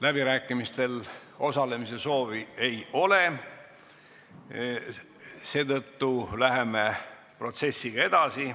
Läbirääkimistel osalemise soovi ei ole, seetõttu läheme protsessiga edasi.